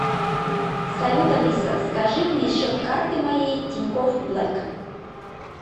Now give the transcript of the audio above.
салют алиса скажи мне счет карты моей тинькофф блэк